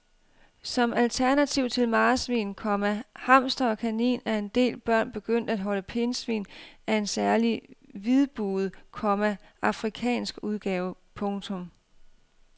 Som alternativ til marsvin, komma hamster og kanin er en del børn begyndt at holde pindsvin af en særlig hvidbuget, komma afrikansk udgave. punktum